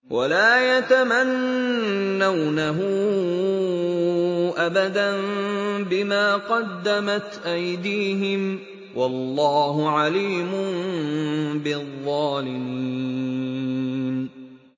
وَلَا يَتَمَنَّوْنَهُ أَبَدًا بِمَا قَدَّمَتْ أَيْدِيهِمْ ۚ وَاللَّهُ عَلِيمٌ بِالظَّالِمِينَ